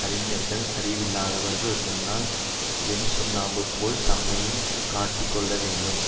அறிஞர்கள் அறிவில்லாதவர்கள் முன்னால் வெண்சுண்ணாம்பு போல் தம்மையும் காட்டிக் கொள்ள வேண்டும்